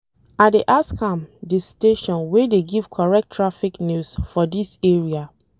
I dey ask am di station wey dey give correct traffic news for dis area.